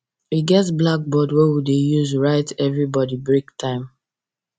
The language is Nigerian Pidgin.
we get blackboard wey we dey use write everybody break time